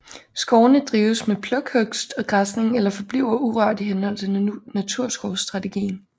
Skovene drives med plukhugst og græsning eller forbliver urørt i henhold til naturskovsstrategien